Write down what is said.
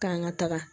K'an ka taga